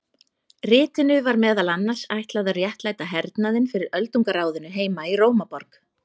Ritinu var meðal annars ætlað að réttlæta hernaðinn fyrir Öldungaráðinu heima í Rómaborg.